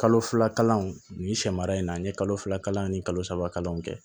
Kalo fila kalanw nin sɛma in na n ye kalo fila kalan ani kalo saba kalanw kɛ